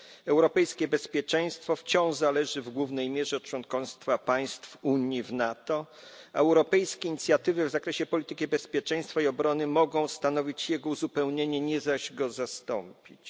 Europejskie bezpieczeństwo wciąż zależy w głównej mierze od członkostwa państw Unii w NATO, a europejskie inicjatywy w zakresie polityki bezpieczeństwa i obrony mogą stanowić jego uzupełnienie, nie zaś go zastąpić.